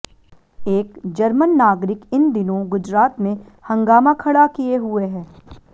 एक जर्मन नागरिक इन दिनों गुजरात में हंगामा खड़ा किए हुए है